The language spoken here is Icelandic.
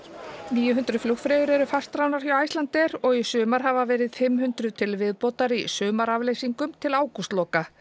níu hundruð flugfreyjur eru fastráðnar hjá Icelandair og í sumar hafa verið fimm hundruð til viðbótar í sumarafleysingum til ágústloka